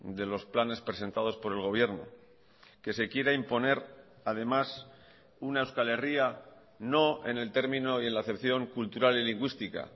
de los planes presentadospor el gobierno que se quiera imponer además una euskal herria no en el término y en la acepción cultural y lingüística